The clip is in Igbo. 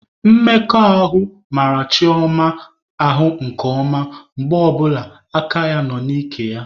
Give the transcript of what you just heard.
Mmekọ ahụ mara Chioma ahụ nke na mgbe ọbụla aka ya nọ n'ike ya.